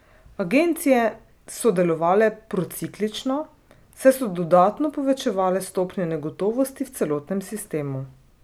Agencije so delovale prociklično, saj so dodatno povečevale stopnjo negotovosti v celotnem sistemu.